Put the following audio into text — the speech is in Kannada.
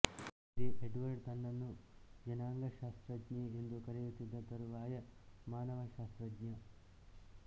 ಹಿಂದೆ ಎಡ್ವರ್ಡ್ ತನ್ನನ್ನು ಜನಾಂಗಶಾಸ್ತ್ರಜ್ಞೆ ಎಂದು ಕರೆದಿದ್ದ ತರುವಾಯ ಮಾನವಶಾಸ್ತ್ರಜ್ಞ